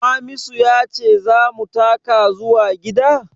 Hamisu ya ce za mu taka zuwa gida?